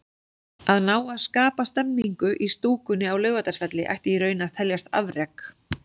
Að ná að skapa stemningu í stúkunni á Laugardalsvelli ætti í raun að teljast afrek.